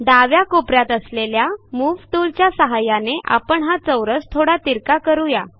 डाव्या कोप यात असलेल्या मूव टूलच्या सहाय्याने आपण हा चौरस थोडा तिरका करू या